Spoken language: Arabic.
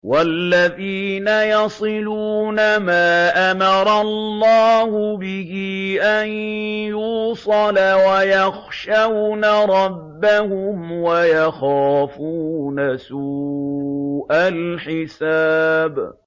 وَالَّذِينَ يَصِلُونَ مَا أَمَرَ اللَّهُ بِهِ أَن يُوصَلَ وَيَخْشَوْنَ رَبَّهُمْ وَيَخَافُونَ سُوءَ الْحِسَابِ